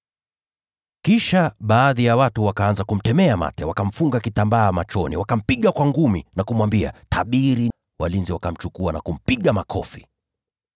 Kisha baadhi ya watu wakaanza kumtemea mate; wakamfunga kitambaa machoni, wakampiga kwa ngumi na kumwambia, “Tabiri!” Walinzi wakamchukua na kumpiga makofi.